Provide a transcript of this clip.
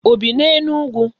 O bi n'Enugwu?